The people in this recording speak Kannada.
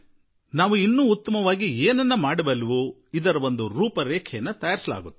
ನಾವು ಉತ್ತಮವಾಗಿ ಏನನ್ನು ಮಾಡಲು ಸಾಧ್ಯವೋ ಅದರ ಮಾರ್ಗನಕ್ಷೆ ರೂಪಿಸಲಾಗುತ್ತದೆ